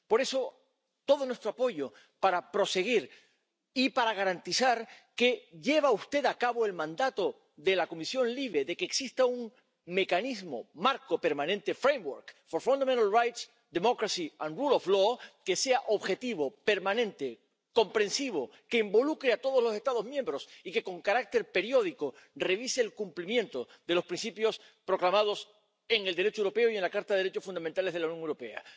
Por eso, todo nuestro apoyo para proseguir y para garantizar que lleva usted a cabo el mandato de la Comisión LIBE de que exista un mecanismo marco permanente framework for fundamental rights, democracy and Rule of Law que sea objetivo, permanente, comprensivo, que involucre a todos los Estados miembros y que, con carácter periódico, revise el cumplimiento de los principios proclamados en el Derecho europeo y en la Carta de los Derechos Fundamentales de la Unión Europea.